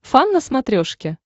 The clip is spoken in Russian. фан на смотрешке